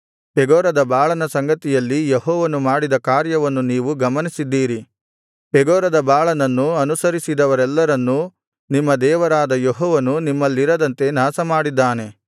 ಪೆಗೋರದ ಬಾಳನ ಸಂಗತಿಯಲ್ಲಿ ಯೆಹೋವನು ಮಾಡಿದ ಕಾರ್ಯವನ್ನು ನೀವು ಗಮನಿಸಿದ್ದೀರಿ ಪೆಗೋರದ ಬಾಳನನ್ನು ಅನುಸರಿಸಿದವರೆಲ್ಲರನ್ನೂ ನಿಮ್ಮ ದೇವರಾದ ಯೆಹೋವನು ನಿಮ್ಮಲ್ಲಿರದಂತೆ ನಾಶಮಾಡಿದ್ದಾನೆ